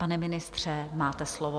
Pane ministře, máte slovo.